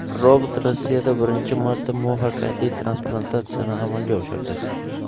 Robot Rossiyada birinchi marta muvaffaqiyatli transplantatsiyani amalga oshirdi.